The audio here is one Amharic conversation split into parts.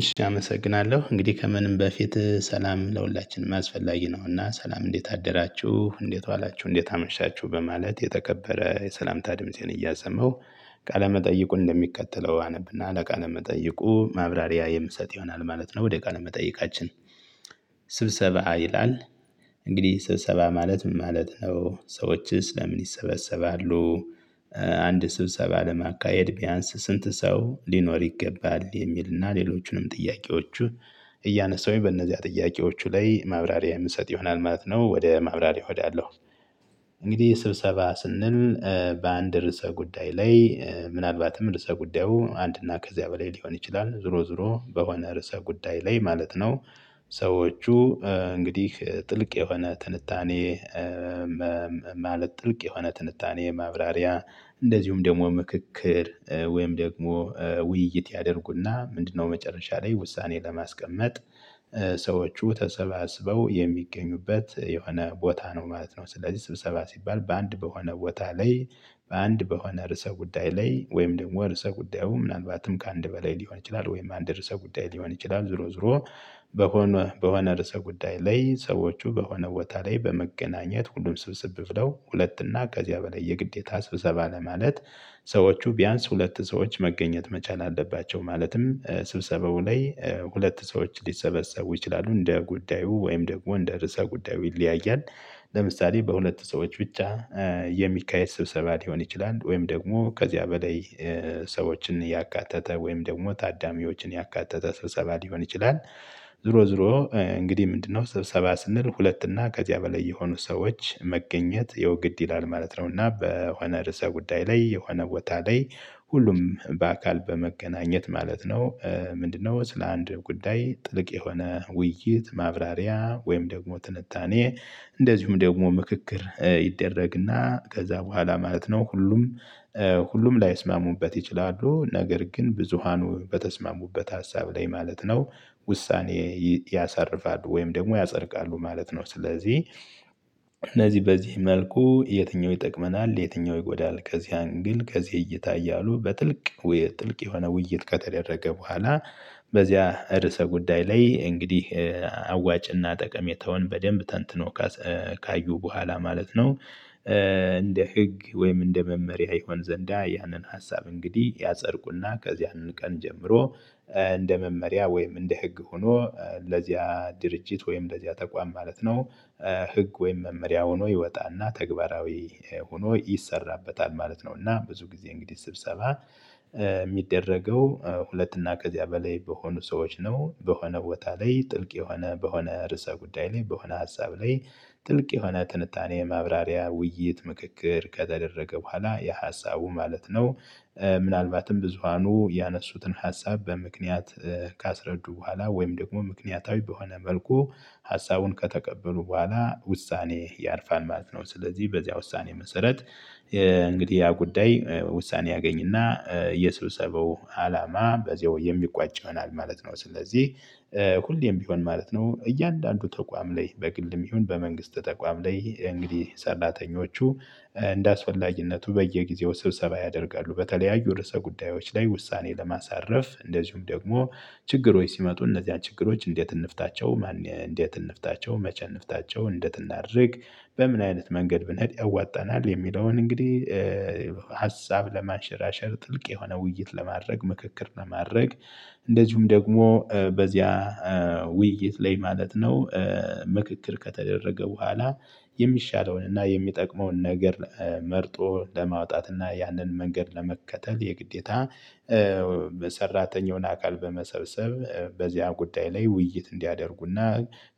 እሺ አመሰግናለሁ እንግዲህ ከምንም በፊት ሰላም ለሁላችንም አስፈላጊ ነውና ሰላም እንዴት አደራችሁ እንዴት ዋላችሁ እንዴት አመሻችሁ በማለት የተከበረ የሰላምታ ድምፄን እያሰማሁ ቃለ መጠይቁ እንደሚከተለው አነብና ለቃለ መጠይቁ ማብራሪያ የምሰጥ ይሆናል ማለት ነው። ወደ ቃለ መጠየቃችን ስብሰባ ይላል እንግዲህ ስብሰባ ማለት ምን ማለት ነው? ሰዎችስ ለምን ይሰበሰባሉ? አንድ ስብሰባ ለማካሄድ ቢያንስ ስንት ሰው ሊኖር ይገባል? የሚልና ሌሎቹንም ጥያቄዎቹ እያነሳሁኝ በእነዚያ ጥያቄዎቹ ላይ ማብራሪያ የምሰጥ ይሆናል ማለት ነው። ወደ ማብራሪያው እሄዳለሁ። እንግዲህ ስብሰባ ስንል በአንድ ርዕሰ ጉዳይ ላይ ምናልባትም ርዕሰ ጉዳዩ አንድ ከዚያ በላይ ሊሆን ይችላል ዞሮ ዞሮ በሆነ ርዕሰ ጉዳይ ላይ ማለት ነው። ሰዎቹ እንግዲህ ጥልቅ የሆነ ትንታኔ። ማለት ጥልቅ የሆነ ትንታኔ ማብራሪያ እንደዚሁም ደግሞ ምክክር ወይም ደግሞ ውይይት ያደርጉና ምንድነው መጨረሻ ላይ ውሳኔ ለማስቀመጥ? ሰዎች ተሰባስበው የሚገኙበት የሆነ ቦታ ነው ማለት ነው። ስለዚህ ስብሰባ ሲባል በአንድ በሆነ ቦታ ላይ በአንድ በሆነ ርዕሰ ጉዳይ ላይ ወይም ደግሞ ርዕሰ ጉዳዩ ምናልባትም ከአንድ በላይ ሊሆን ይችላል ወይም አንድ ርዕሰ ጉዳይ ሊሆን ይችላል ዞሮ ዞሮ። በሆነ በሆነ ርዕሰ ጉዳይ ላይ ሰዎቹ በሆነ ቦታ ላይ በመገናኘት ሁሉም ስብስብ ብለው ሁለት እና ከዚያ በላይ የግዴታ ስብሰባ ለማለት። ሰዎቹ ቢያንስ ሁለት ሰዎች መገኘት መቻል አለባቸው። ማለትም ስብሰባው ላይ ሁለት ሰዎች ሊሰበሰቡ ይችላሉ እንደ ጉዳዩ ወይም ደግሞ እንደ ርዕሰ ጉዳዩ ይለያያል። ለምሳሌ በሁለት ሰዎች ብቻ የሚካሄድ ስብሰባ ሊሆን ይችላል። ወይም ደግሞ ከዚያ በላይ ሰዎችን እያካተተ ወይም ደግሞ ታዳሚዎችን ያካተተ ስብሰባ ሊሆን ይችላል። ዞሮ ዞሮ። እንግዲህ ምንድነው ስብሰባ ስንል ሁለት እና ከዚያ በላይ የሆኑ ሰዎች መገኘት ያው ግድ ይላል ማለት ነው። እና በሆነ ርዕሰ ጉዳይ ላይ የሆነ ቦታ ላይ ሁሉም በአካል በመገናኘት ማለት ነው። ምንድነው ስለ አንድ ጉዳይ ጥልቅ የሆነ ውይይት ማብራሪያ ወይም ደግሞ ትንታኔ። እንደዚሁም ደግሞ ምክክር ይደረግና ከዛ በኋላ ማለት ነው ሁሉም ሁሉም ላይስማሙበት ይችላሉ ነገር ግን ብዙሃኑ በተስማሙበት ሀሳብ ላይ ማለት ነው። ውሳኔ ያሳርፋሉ ወይም ደግሞ ያጸድቃሉ ማለት ነው። ስለዚህ እነዚህ በዚህ መልኩ የትኛው ይጠቅመናል የትኛው ይጎዳል ከዚህ አንግል ከዚህ እይታ እያሉ በጥልቅ ጥልቅ የሆነ ውይይት ከተደረገ በኋላ። በዚያ ርዕሰ ጉዳይ ላይ እንግዲህ አዋጭና ጠቀሜታውን በደንብ ተንትኖ ካዩ በኋላ ማለት ነው። እንደ ህግ ወይም እንደ መመሪያ ይሆን ዘንዳ ያንን ሀሳብ እንግዲህ ያፀድቁና ከዚያን ቀን ጀምሮ እንደ መመሪያ ወይም እንደ ህግ ሆኖ ለዚያ ድርጅት ወይም ለዚያ ተቋም ማለት ነው። ህግ ወይም መመሪያ ሆኖ ይወጣና ተግባራዊ ሆኖ ይሰራበታል ማለት ነው። እና ብዙ ጊዜ እንግዲህ ስብሰባ የሚደረገው ሁለት እና ከዚያ በላይ በሆኑ ሰዎች ነው በሆነ ቦታ ላይ ጥልቅ የሆነ በሆነ ርዕሰ ጉዳይ ላይ በሆነ ሀሳብ ላይ ጥልቅ የሆነ ትንታኔ ማብራሪያ ውይይት ምክክር ከተደረገ በኋላ የሀሳቡ ማለት ነው። ምናልባትም ብዙሃኑ ያነሱትን ሀሳብ በምክንያት ካስረዱ በኋላ ወይም ደግሞ ምክንያታዊ በሆነ መልኩ ሀሳቡን ከተቀበሉ በኋላ ውሳኔ ያርፋል ማለት ነው። ስለዚህ በዚያ ውሳኔ መሰረት እንግዲህ ያ ጉዳይ ውሳኔ ያገኝና የሰብሰበው አላማ በዚሁ የሚቋጭ ይሆናል ማለት ነው። ስለዚህ ሁሌም ቢሆን ማለት ነው። እያንዳንዱ ተቋም ላይ በግልም ይሁን በመንግስት ተቋም ላይ እንግዲህ ሰራተኞቹ እንደ አስፈላግነቱ በየጊዜው ስብሰባ ያደርጋሉ በተለያዩ ርዕሰ ጉዳዮች ላይ ውሳኔ ለማሳረፍ እንደዚሁም ደግሞ። ችግሮች ሲመጡ እነዚህን ችግሮች እንዴት እንፍታቸው? ማን እንዴት እንፍታቸው? መቼ እንፍታቸው? እንዴት እናድርግ? በምን አይነት መንገድ ብነሄድ ያዋጣናል? የሚለውን እንግዲህ ሀሳብ ለማንሸራሸር ጥልቅ የሆነ ውይይት ለማድረግ ምክክር ለማድረግ እንደዚሁም ደግሞ በዚያ ውይይት ላይ ማለት ነው። ምክክር ከተደረገ በኋላ። የሚሻለውን እና የሚጠቅመውን ነገር መርጦ ለማውጣት እና ያንን መንገድ ለመከተል የግዴታ በሰራተኛውን አካል በመሰብሰብ በዚያን ጉዳይ ላይ ውይይት እንዲያደርጉና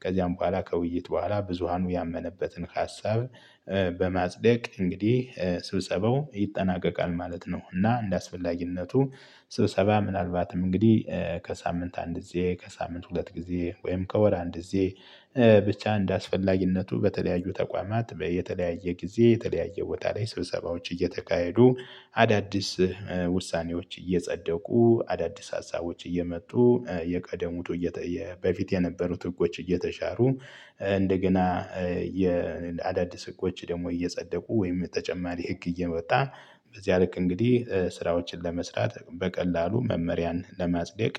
ከዚያም በኋላ ከውይይት በኋላ ብዙሃኑ ያመነበትን ሀሳብ በማጽደቅ እንግዲህ ስብሰበው ይጠናቀቃል ማለት ነው። እና እንደ አስፈላጊነቱ ስብሰባ ምናልባትም እንግዲህ ከሳምንት አንድ ጊዜ ከሳምንት ሁለት ጊዜ ወይም ከወር አንድ ጊዜ። ብቻ እንደአስፈላጊነቱ በተለያዩ ተቋማት በየተለያየ ጊዜ የተለያየ ቦታ ላይ ስብሰባዎች እየተካሄዱ አዳዲስ ውሳኔዎች እየጸደቁ አዳዲስ አሳቦች እየመጡ የቀደሙት እየተየ በፊት የነበሩት ህጎች እየተሻሩ እንደገና የአዳዲስ ህጎች ደግሞ እየጸደቁ ወይም ተጨማሪ ህግ እየወጣ በዚያ ልክ እንግዲህ ስራዎችን ለመስራት በቀላሉ መመሪያን ለማጽደቅ።